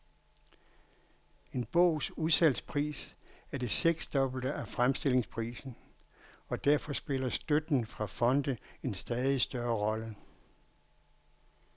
En bogs udsalgspris er det seksdobbelte af fremstillingsprisen, og derfor spiller støtten fra fonde en stadig større rolle.